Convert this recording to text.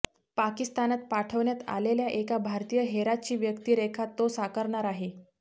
पाकिस्तानात पाठवण्यात आलेल्या एका भारतीय हेराची व्यक्तीरेखा तो साकारणार आहे